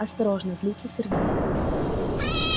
осторожно злится сергей